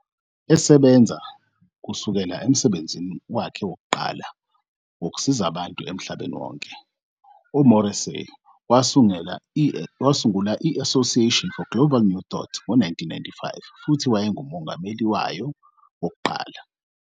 Esebenza kusukela emsebenzini wakhe wokuqala wokusiza abantu emhlabeni wonke, uMorrissey wasungula i-Association for Global New Thought ngo-1995 futhi wayengumongameli wayo wokuqala.